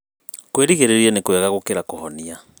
kũirigĩrĩria nĩ kwega gũkira gũhonia